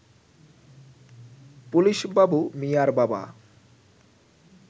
police Babu মিয়ার বাবা